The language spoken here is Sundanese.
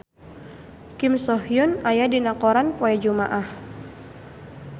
Kim So Hyun aya dina koran poe Jumaah